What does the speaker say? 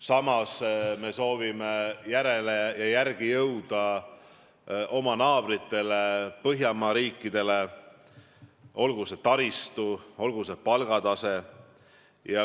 Samas soovime järele jõuda oma naabritele Põhjamaadele, olgu taristu või palgataseme poolest.